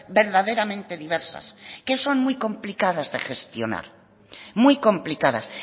verdaderamente diversas que son muy complicadas de gestionar muy complicadas